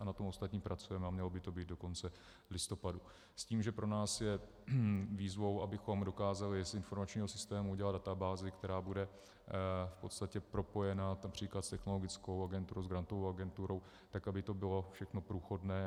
A na tom ostatním pracujeme a mělo by to být do konce listopadu s tím, že pro nás je výzvou, abychom dokázali z informačního systému udělat databázi, která bude v podstatě propojena například s Technologickou agenturou, s Grantovou agenturou tak, aby to bylo všechno průchodné.